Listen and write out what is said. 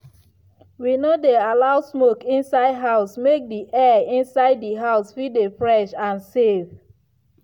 we no dey allow smoke inside house make di air inside di house fit dey fresh and safe.